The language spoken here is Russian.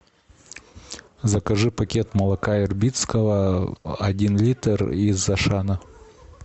закажи пакет молока ирбитского один литр из ашана